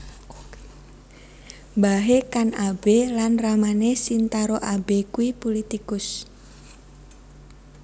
Mbahe Kan Abe lan ramane Shintaro Abe kui pulitikus